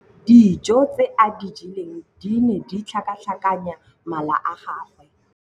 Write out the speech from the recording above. Dijô tse a di jeleng di ne di tlhakatlhakanya mala a gagwe.